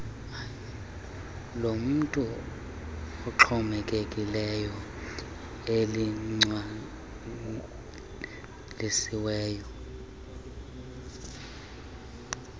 lomntu oxhomekekileyo eligcwalisiweyo